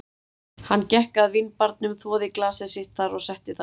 Hann gekk að vínbarnum, þvoði glasið sitt þar og setti það á sinn stað.